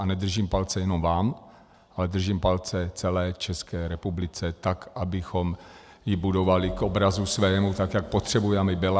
A nedržím palce jenom vám, ale držím palce celé České republice, tak abychom ji budovali k obrazu svému, tak jak potřebujeme, aby byla.